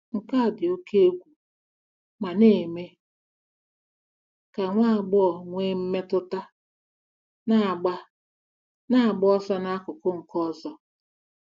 Nke a dị oke egwu ma na-eme ka nwa agbọghọ nwee mmetụta na-agba na-agba ọsọ n'akụkụ nke ọzọ. ”